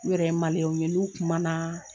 U yɛrɛ ye maliɲɛnw ye n'u kuma na